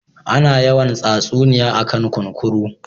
Ana yawan tsatsuniya a kan kunkuru